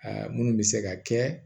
Aa munnu bɛ se ka kɛ